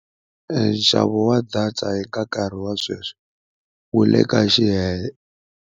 Nxavo wa data eka nkarhi wa sweswi wu le ka